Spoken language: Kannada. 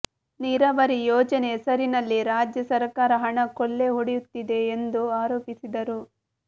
ನೀರಾವರಿ ಯೋಜನೆ ಹೆಸರಿನಲ್ಲಿ ರಾಜ್ಯ ಸರಕಾರ ಹಣ ಕೊಳ್ಳೆ ಹೊಡೆಯುತ್ತಿದೆ ಎಂದು ಆರೋಪಿಸಿದರು